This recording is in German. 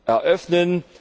eröffnen,